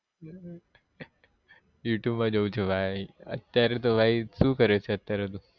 Youtube માં જોઉં છું ભાઈ અત્યારે તો ભાઈ શું કરે છે અત્યારે તું?